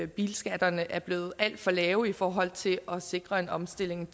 bilskatterne er blevet alt for lave i forhold til at sikre en omstilling